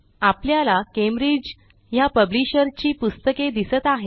आपल्याला कॅम्ब्रिज ह्या पब्लिशर ची पुस्तके दिसत आहेत